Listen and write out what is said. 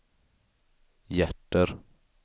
hjärter